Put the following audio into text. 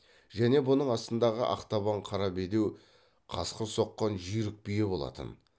және бұның астындағы ақтабан қара бедеу қасқыр соққан жүйрік бие болатын